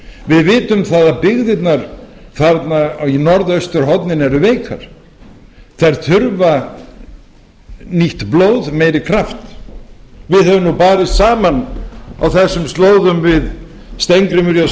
við vitum það að byggðirnar þarna í norðausturhorninu eru veikar þær þurfa nýtt blóð meiri kraft við höfum nú barist saman á þessum slóðum við steingrímur j